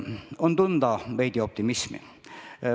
On tunda veidi optimismi.